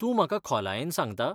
तूं म्हाका खोलायेन सांगता?